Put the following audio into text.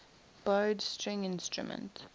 bowed string instrument